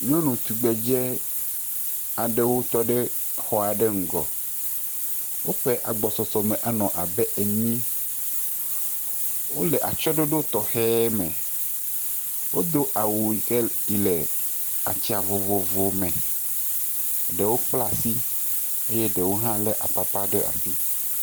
Nyɔnu tugbedzɛ aɖewo tɔ ɖe xɔ aɖe ŋgɔ. Woƒe agbɔsɔsɔ me anɔ abe enyi. Wole atsɔɖoɖo tɔxe me. Wodo awu yi ke yi le atsia vovovo me. Ɖewo kpla si eye ɖewo hã le apapa ɖe asi.